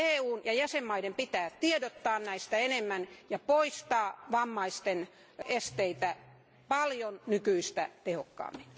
EUn ja jäsenvaltioiden pitää tiedottaa näistä enemmän ja poistaa vammaisten esteitä paljon nykyistä tehokkaammin.